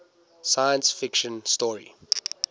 science fiction story